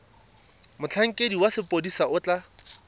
motlhankedi wa sepodisi o tla